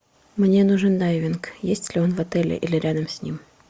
мне нужен дайвинг есть ли он в отеле или рядом с ним